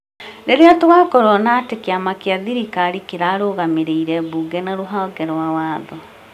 Rĩrĩa tũgũkorwo na atĩ kĩama kĩa thirikari kĩrarũgamĩrĩrĩ mbunge na rũhonge rwa watho,